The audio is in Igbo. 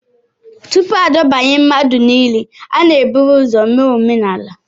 Tupu adọbanye mmadụ n'ili, a na-eburu ụzọ mee omenala